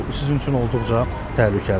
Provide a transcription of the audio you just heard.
Bu sizin üçün olduqca təhlükəlidir.